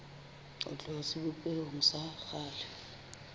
ho tloha sebopehong sa kgale